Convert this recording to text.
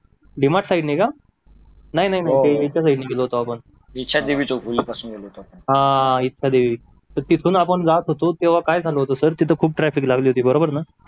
भीमा साईडला का नाही नाही दिक्ष्यादेवी चौक पासून गेलो होतो आपण ह दिक्ष्य देवी ह तीतून आपण जात होतो तिथ खूप ट्राफिक लागली होती बरोबर ना